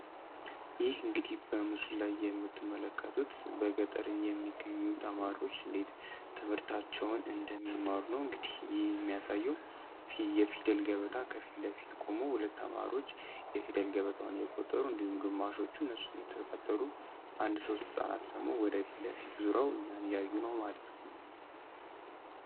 ይህ እንግዲ በሙስና የምትመለከቱት በገጠር የሚገኙት ተማሪዎች እንዴት ትምህርታቸውን እንደሚማሩ እንግዲህ የሚያሳየው የፊደል ገበታ ከፊት ለፊት ቆመው ሁለት አማሮ ገበቷን የቆጠሩ እንዲሁም ግማሾቹ እነሱ አንድ ሶስት ሰዓት ደግሞ ወደፊት ለፊት ዙረው ነው ማለት